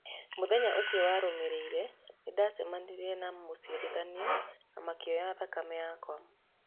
Muthenya ũcio warũmirĩire nĩndacemanirĩe na mũciarithanĩa na makĩoya thakame yakwa.